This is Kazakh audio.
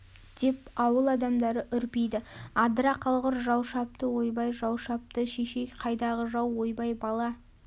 деп ауыл адамдары үрпиді адыра қалғыр жау шапты ойбай жау шапты шешей қайдағы жау ойбай бала